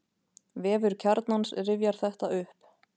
Vefur Kjarnans rifjar þetta upp.